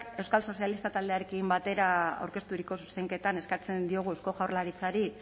euskal sozialistak taldearekin batera aurkezturiko zuzenketan eskatzen diogu eusko jaurlaritzari